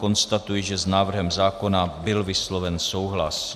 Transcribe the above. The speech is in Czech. Konstatuji, že s návrhem zákona byl vysloven souhlas.